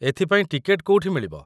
ଏଥିପାଇଁ ଟିକେଟ କୋଉଠି ମିଳିବ?